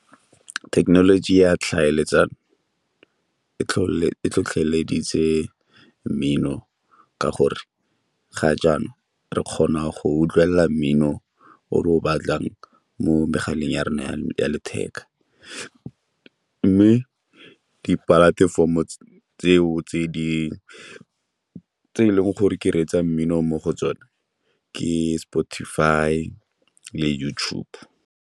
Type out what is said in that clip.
Thekenoloji ya tlhaeletsano e tlhotlheleditse mmino ka gore ga jaana re kgona go utlwelela mmino o re o batlang mo megaleng ya rona ya letheka, mme di-platform-o tseo tse dingwe tse e leng gore ke reetsa mmino mo go tsone ke Spotify le YouTube.